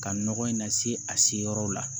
Ka nɔgɔ in nase a se yɔrɔ la